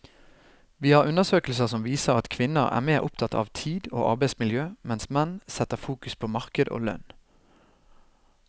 Vi har undersøkelser som viser at kvinner er mer opptatt av tid og arbeidsmiljø, mens menn setter fokus på marked og lønn.